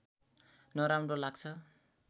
नराम्रो लाग्छ